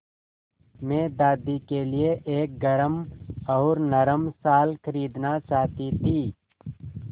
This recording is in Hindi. मैं दादी के लिए एक गरम और नरम शाल खरीदना चाहती थी